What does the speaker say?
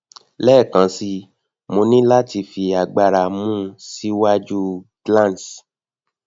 lẹẹkansi mo ni lati fi agbara mu si iwaju glans